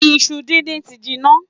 Iṣu díndín ti jinná.